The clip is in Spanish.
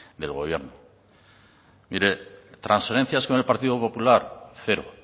del gobierno mire trasferencias con el partido popular cero